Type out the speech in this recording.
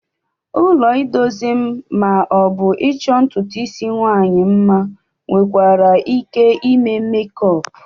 Ụlọ idozie ma ọ bụ ịchọ ntụtụ isi ụmụnwaanyị mma nwekwara ike ime mekup.